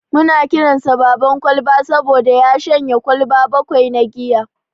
Muna kiransa "Baban Kwalba" saboda ya shanye kwalba bakwai na giya.